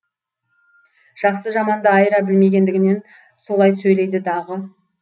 жақсы жаманды айыра білмегендігінен солай сөйлейді дағы